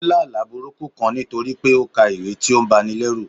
ó lá àlá burúkú kán nítorí pé ó ka ìwé tí ó ń báni lerù.